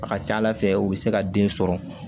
A ka ca ala fɛ u bɛ se ka den sɔrɔ